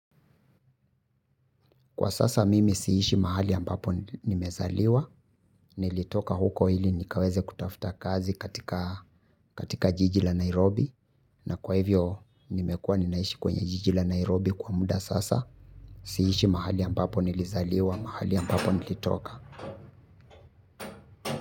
Kwa sasa mimi siishi mahali ambapo nimezaliwa, nilitoka huko ili nikaweze kutafuta kazi katika jiji la Nairobi. Na kwa hivyo nimekuwa ninaishi kwenye jiji la Nairobi kwa muda sasa, siishi mahali ambapo nilizaliwa, mahali ambapo nilitoka.